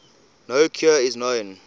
no cure is known